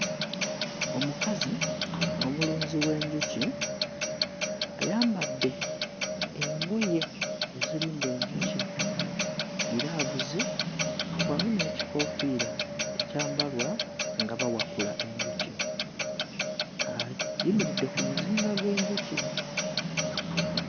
Omukazi omulunzi w'enjuki ayambadde enjuki ezirunda enjuki, ggiraavuzi wamu n'ekikoofiira ekyambalwa nga bawakula enjuki ayimiridde ku muzinga gw'enjuki.